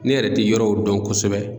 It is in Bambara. Ne yɛrɛ tɛ yɔrɔw dɔn kosɛbɛ.